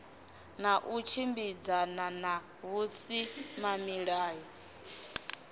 na u tshimbidzana na vhusimamilayo